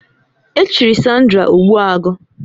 Echiri Sandra Ogbuagu